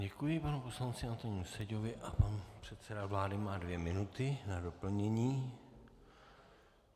Děkuji panu poslanci Antonínu Seďovi a pan předseda vlády má dvě minuty na doplnění.